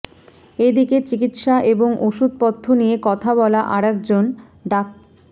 এদিকে চিকিৎসা এবং ওষুধ পথ্য নিয়ে কথা বলা আরেকজন ডা